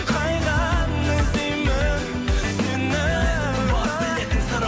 қайдан іздеймін сені